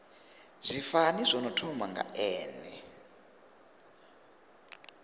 zwifani zwino thoma nga n